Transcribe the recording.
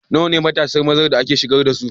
Nawa ne matasan mazan da aka shigar da su?